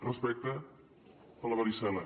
respecte a la varicel·la